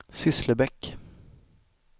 Sysslebäck